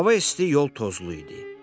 Hava isti, yol tozlu idi.